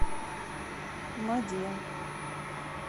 маде